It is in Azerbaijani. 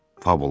Fabula.